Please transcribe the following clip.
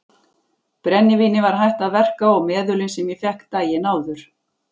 Brennivínið var hætt að verka og meðölin sem ég fékk daginn áður.